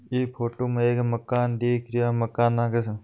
इ फोटु में एक मकान दिख रियो है मकाना के --